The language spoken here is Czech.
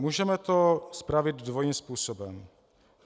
Můžeme to spravit dvojím způsobem.